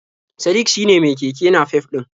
Sadik shine mai keke nafef ɗin?